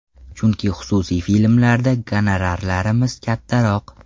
Chunki xususiy filmlarda gonorarlarimiz kattaroq.